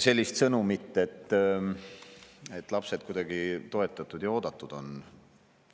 sellist sõnumit, et lapsed kuidagi toetatud ja oodatud on.